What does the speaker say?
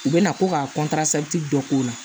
U bɛ na ko ka dɔ k'o la